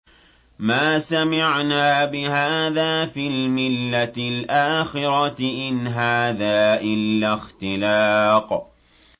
مَا سَمِعْنَا بِهَٰذَا فِي الْمِلَّةِ الْآخِرَةِ إِنْ هَٰذَا إِلَّا اخْتِلَاقٌ